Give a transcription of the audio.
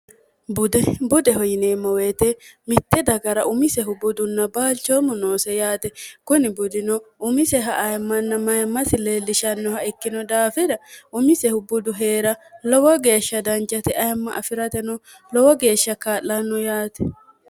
budbudeho yineemma woyite mitte dagara umisehu budunna baalchoommo noose yaate kuni budino umiseha ayimmanna mayimmasi leellishannoha ikkino daafida umisehu budu hee'ra lowo geeshsha dancate ayimma afi'rate no lowo geeshsha kaa'lanno yaate